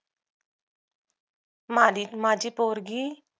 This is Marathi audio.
माझी माझी पोरगी